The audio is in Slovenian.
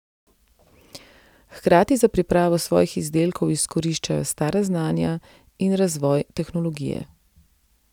Hkrati za pripravo svojih izdelkov izkoriščajo stara znanja in razvoj tehnologije.